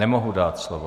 Nemohu dát slovo.